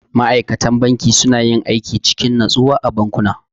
Ma'aikatan banki suna yin aiki cikin natsuwa a bankuna.